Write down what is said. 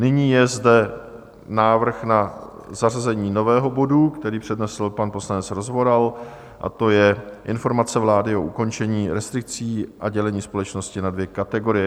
Nyní je zde návrh na zařazení nového bodu, který přednesl pan poslanec Rozvoral, a to je Informace vlády o ukončení restrikcí a dělení společnosti na dvě kategorie.